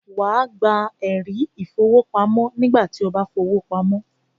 Wà á gba “ ẹ̀rí ìfowópamọ́” nígbà tí o bá fi owó pamọ́